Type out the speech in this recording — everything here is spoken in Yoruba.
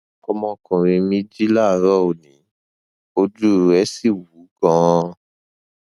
ọmọkùnrin mi jí láàárọ òní ojú rẹ sì wú ganan